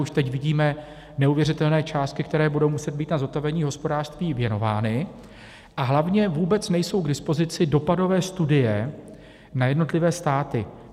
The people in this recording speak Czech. Už teď vidíme neuvěřitelné částky, které budou muset být na zotavení hospodářství věnovány, a hlavně vůbec nejsou k dispozici dopadové studie na jednotlivé státy.